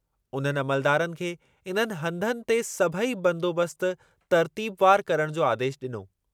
उन्हनि अमलदारनि खे इन्हनि हंधनि ते सभेई बंदोबस्तु तर्तीबवारु करणु जो आदेशु ॾिनो।